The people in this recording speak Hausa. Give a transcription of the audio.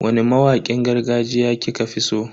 Wani mawakin gargajiya kika fi so?